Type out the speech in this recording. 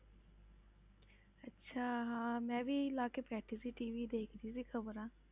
ਅੱਛਾ ਹਾਂ ਮੈਂ ਵੀ ਲਾ ਕੇ ਪੈ ਗਈ ਸੀ TV ਦੇਖਦੀ ਸੀ ਖ਼ਬਰਾਂ।